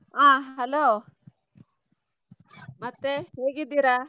ಆ hello ಮತ್ತೆ ಹೇಗಿದ್ದೀರಾ?